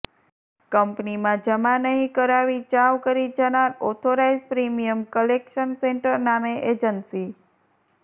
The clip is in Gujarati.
કંપનીમાં જમા નહિ કરાવી ચાઉં કરી જનાર ઓથોરાઇઝ પ્રિમીયમ કલેકશન સેન્ટર નામે એજન્સી